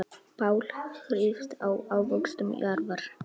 Páll hrífst af ávöxtum jarðar.